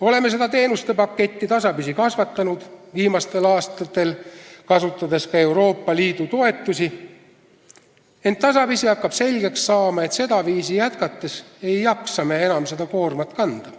Oleme seda teenustepaketti tasapisi kasvatanud, viimastel aastatel kasutades ka Euroopa Liidu toetusi, ent hakkab selgeks saama, et sedaviisi jätkates ei jaksa me enam seda koormat kanda.